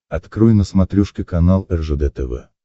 открой на смотрешке канал ржд тв